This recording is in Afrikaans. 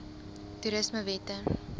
toerismewette